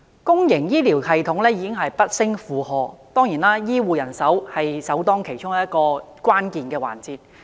公營醫療系統已不勝負荷，醫護人手當然是首當其衝的關鍵環節。